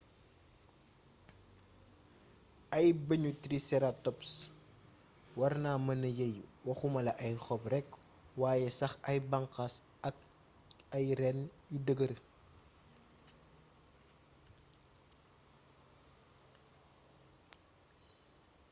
ay bëñu triceratops warna mëna yeey waxumala ay xob rekk wayé sax ay banxaas ak ay reeen yu dëggër